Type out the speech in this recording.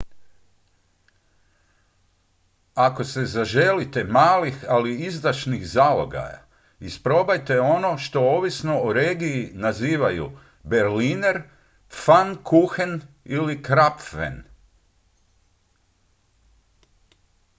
ako se zaželite malih ali izdašnih zalogaja isprobajte ono što ovisno o regiji nazivaju berliner pfannkuchen ili krapfen